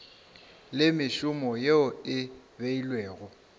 le mešomo yeo e beilwego